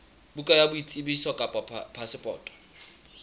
bukana ya boitsebiso kapa phasepoto